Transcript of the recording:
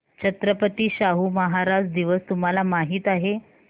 छत्रपती शाहू महाराज दिवस तुम्हाला माहित आहे